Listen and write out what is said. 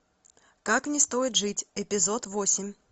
как не стоит жить эпизод восемь